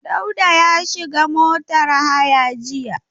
Dauda ya shiga motar haya jiya.